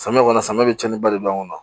Samiya kɔni samiyɛ bɛ cɛnni ba de don a kɔnɔ